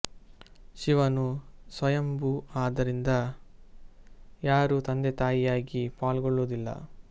ಶಿವನು ಸ್ವಯಂ ಭೂ ಆದ್ದರಿಂದ ಯಾರು ತಂದೆ ತಾಯಿಯಾಗಿ ಪಾಲ್ಗೊಳ್ಳುವುದಿಲ್ಲ